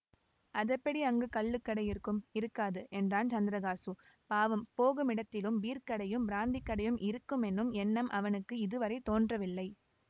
அதெப்படி அங்கே கள்ளுக்கடை இருக்கும் இருக்காது என்றான் சந்திரகாசு பாவம் போகுமிடத்திலும் பீர்க்கடையும் பிராந்திக் கடையும் இருக்குமென்னும் எண்ணம் அவனுக்கு இதுவரை தோன்றவில்லை